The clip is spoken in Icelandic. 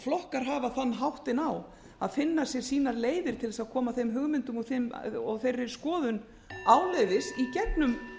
flokkar hafa þann háttinn á að finna sér sínar leiðir til þess að koma þeim hugmyndum og þeirri skoðun áleiðis í gegnum oft og einatt